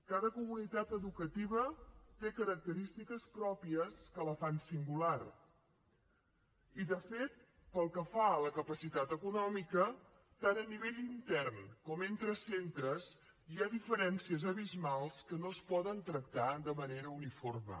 cada comunitat educativa té característiques pròpies que la fan singular i de fet pel que fa a la capacitat econòmica tant a nivell intern com entre centres hi ha diferències abismals que no es poden tractar de manera uniforme